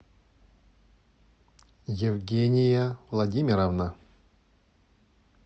евгения владимировна